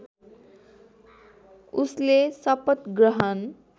उसले शपथ ग्रहण